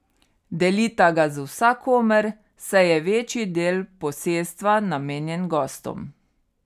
Delita ga z vsakomer, saj je večji del posestva namenjen gostom.